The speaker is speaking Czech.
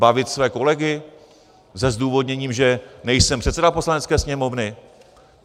Bavit své kolegy se zdůvodněním, že nejsem předseda Poslanecké sněmovny?